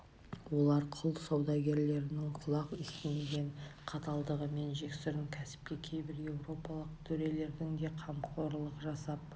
олар құл саудагерлерінің құлақ естімеген қаталдығы мен жексұрын кәсіпке кейбір еуропалық төрелердің де қамқорлық жасап